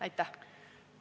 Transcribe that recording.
Aitäh!